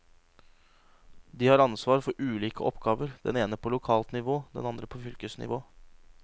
De har ansvar for ulike oppgaver, den ene på lokalt nivå, den andre på fylkesnivå.